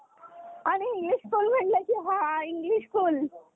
आणि english school म्हणलं की हा english school